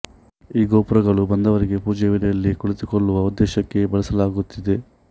ಈ ಗೋಪುರಗಳು ಬಂದವರಿಗೆ ಪೂಜೆಯ ವೇಳೆಯಲ್ಲಿ ಕುಳಿತುಕೊಳ್ಳುವ ಉದ್ದೇಶಕ್ಕೆ ಬಳಸಲಾಗುತ್ತಿದೆ